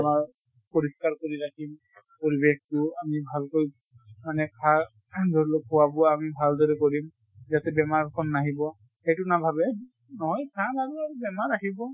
আমাৰ পৰিস্কাৰ কৰি ৰাখিম পৰিবেশতো। আমি ভালকৈ মানে খা ধৰি লোৱা খোৱা বোৱা আমি ভাল দৰে কৰিম যাতে ব্মাৰ খন নাহিব, সেইটো নাভাবে। নহয় চাম আৰু আৰু বেমাৰ আহিব